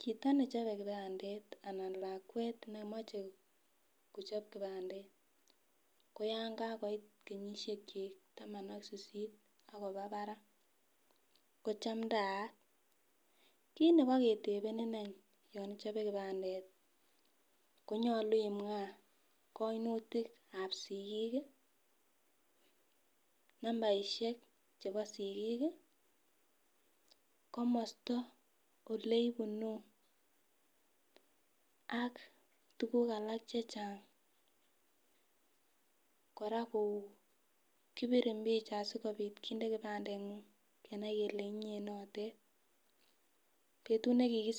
Chito nechobe kipandet anan lakwet nemoche kochob kipandet ko yon kakoit kenyishek chik taman ak sisit ak kiba barak ko chamdayat, kit nebiketepenin any yon ichobe kipandet konyolu imwa koinutikab sikik nambarishek chebo sikik kii komosto oleibunu ak tukuk alak chechang . Koraa kou kipirin picha sikopit kinde kipandengung kenai kele inyee notet, betut nekikisichin.